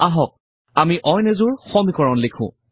আহক আমি অইন এযোৰ সমীকৰণ লিখো